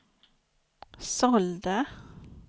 sålde